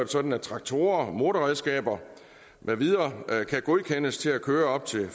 sådan at traktorer motorredskaber med videre kan godkendes til at køre op til